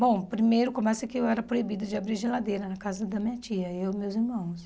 Bom, primeiro começa que eu era proibida de abrir geladeira na casa da minha tia, eu e meus irmãos.